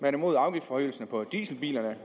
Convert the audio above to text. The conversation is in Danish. er imod afgiftforøgelsen på dieselbilerne